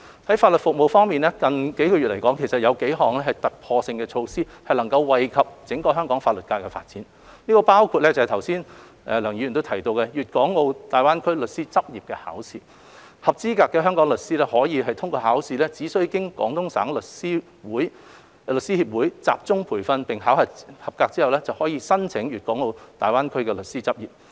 在法律服務方面，近月有幾項突破性的措施惠及整個香港法律界發展，包括剛才梁議員提到的"粵港澳大灣區律師執業考試"，合資格的香港執業律師在通過考試後只需經廣東省律師協會集中培訓並考核合格後，便可申請粵港澳大灣區律師執業。